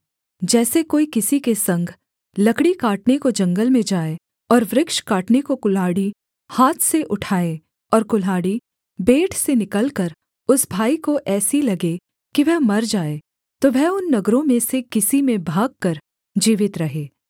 जैसे कोई किसी के संग लकड़ी काटने को जंगल में जाए और वृक्ष काटने को कुल्हाड़ी हाथ से उठाए और कुल्हाड़ी बेंट से निकलकर उस भाई को ऐसी लगे कि वह मर जाए तो वह उन नगरों में से किसी में भागकर जीवित रहे